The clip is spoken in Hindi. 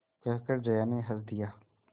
कहकर जया ने हँस दिया